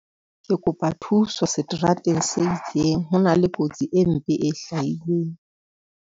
Ke kopa thuso seterateng se itseng. Ho na le kotsi e mpe e hlahileng.